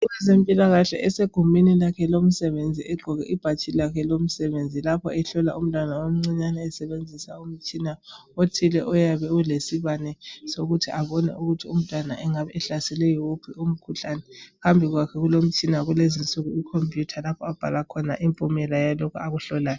umuntu wezempilakahle usegumeni lakhe lomsebenzi lapho ehlola umntwana omncinyana esebenzisa umtshina oyabe unesibane sokuthi abone umntwana engabe ehlaselwe yiwuphi umkhuhlane phambi kwakhe kulomtshina walezi nsuku ikhomputer lapho okubhala khona impumela yalakho abakuhlolayo